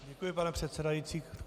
Děkuji, pane předsedající.